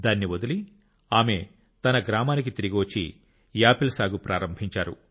దాన్ని వదిలి ఆమె తన గ్రామానికి తిరిగి వచ్చి యాపిల్ సాగు ప్రారంభించారు